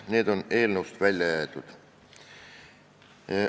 Need on eelnõust välja jäetud.